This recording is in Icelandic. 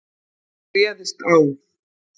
Hann réðst á